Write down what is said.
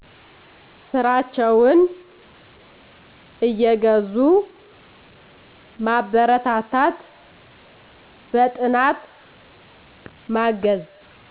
ስራቸውን እየገዙ ማበረታታት በጥናት ማገዝ